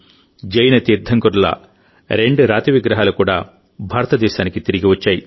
జైన తీర్థంకరుల రెండు రాతి విగ్రహాలు కూడా భారతదేశానికి తిరిగి వచ్చాయి